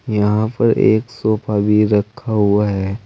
यहां पर एक सोफा भी रखा हुआ है।